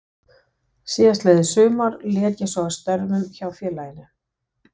Síðastliðið sumar lét ég svo af störfum hjá félaginu.